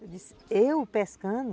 Eu disse, eu pescando?